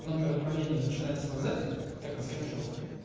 номер отправления начинается назад как на скриншоте